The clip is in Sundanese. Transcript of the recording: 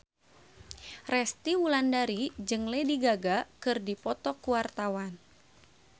Resty Wulandari jeung Lady Gaga keur dipoto ku wartawan